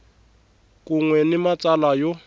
kun we ni matsalwa yo